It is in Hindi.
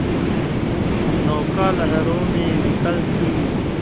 नौका लहरों में विकल थी